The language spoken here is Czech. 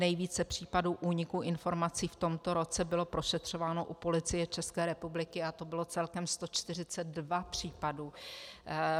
Nejvíce případů úniku informací v tomto roce bylo prošetřováno u Policie České republiky a to bylo celkem 142 případů.